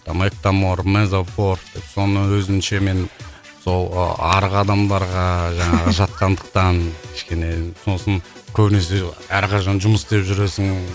мектомор мезофорд деп соны өзімше мен сол ы арық адамдарға жаңағы жатқандықтан кішкене сосын көбінесе әрқашан жұмыс істеп жүресің